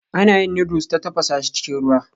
Ana yin noodles ta tafasa shi cikin ruwa